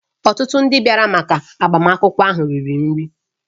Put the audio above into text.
Ọtụtụ ndị bịara maka agbamakwụkwọ ahụ riri nri